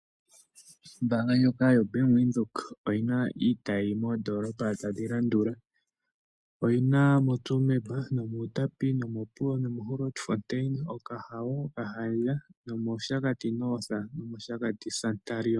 Ombaanga ndjono yo Bank Windhoek oyina iitayi moondoolopa tadhi landula, oyina moTsumeb, Outapi, Opuwo, Grootfontein, Okahao okahandja,o Capricon, Oshakati -Noth nOshakati Santorini Service